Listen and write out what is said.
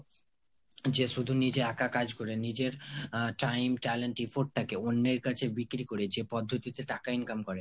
যে শুধু নিজে একা কাজ করে, নিজের আহ time talent afford টাকে অন্যের কাছে বিক্রি করে যে পদ্ধতিতে টাকা income করে.